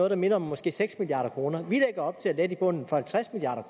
der minder om måske seks milliard kroner vi lægger op til at lette i bunden for halvtreds milliard